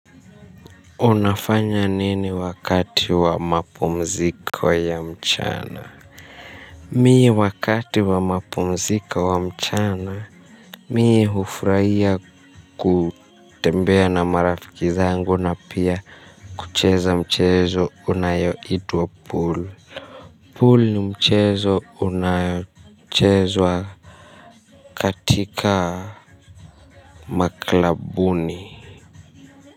Unafanya nini wakati wa mapumziko ya mchana. Mimi wakati wa mapumziko wa mchana mimi hufurahia kutembea na marafiki zangu na pia kucheza mchezo unaoitwa pool Pool ni mchezo unaochezwa. Katika maklabuni.